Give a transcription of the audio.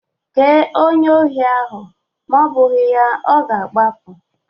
Kee onye ohi ahụ ma ọ bụghị ya, ọ ga-agbapụ